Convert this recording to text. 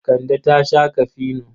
Kande ta sha kafino.